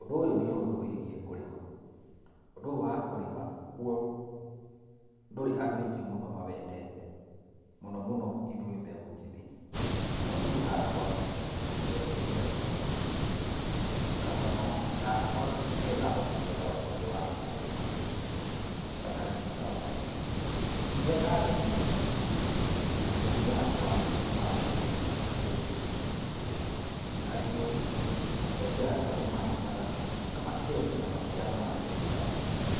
Ũndũ ũyũ nĩ ũndũ wĩgiĩ kũrĩma. Ũndũ ũyũ wa kũrĩma kũo ndũrĩ andũ aingĩ mawendete, mũno mũno ithuĩ mbeũ njĩthĩ no nĩĩ hakwa nĩndĩwendete mũno. Karũgano gakwa nĩgetha hote kwenda ũndũ ũyũ wa kũrĩma gatariĩ ta ũũ, rĩrĩa ndarĩ mũnini, aciari akwa nĩ manyonirie kũrĩma. Na rĩmwe, aciari akwa nĩmarĩmaga na makendia maciaro ma mĩgũnda